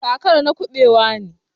kakar na kubewa ne.